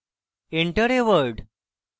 enter a word: